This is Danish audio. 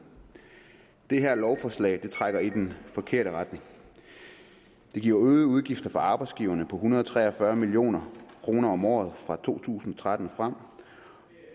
det her lovforslag trækker i den forkerte retning det giver øgede udgifter for arbejdsgiverne på en hundrede og tre og fyrre million kroner om året fra to tusind og tretten og frem